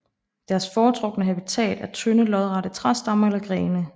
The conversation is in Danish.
Deres foretrukne habitat er tynde lodrette træstammer eller grene